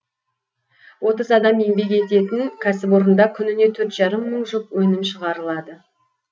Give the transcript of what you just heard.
отыз адам еңбек етеін кәсіпорында күніне төрт жарым мың жұп өнім шығарылады